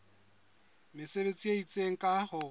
mesebetsi e itseng ka ho